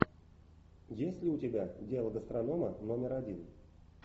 есть ли у тебя дело гастронома номер один